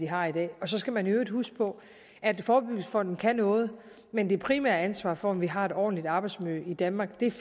har i dag og så skal man i øvrigt huske på at forebyggelsesfonden kan noget men det primære ansvar for at vi har et ordentligt arbejdsmiljø i danmark